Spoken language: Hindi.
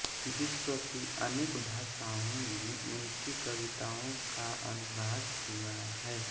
विश्व की अनेक भाषाओं में उनकी कविताओं का अनुवाद हुआ है